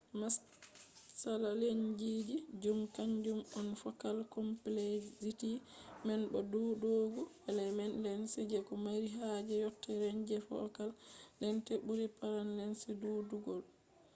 matsala lensji zum kanjum on fokal komplekzity man bo be ɗuuɗugo element lens je ko mari haaje yotta renj fokal lent ɓuri praim lens ɗuɗugo